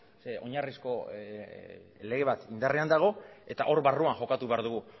zeren oinarrizko lege bat indarrean dago eta hor barruan jokatu behar dugu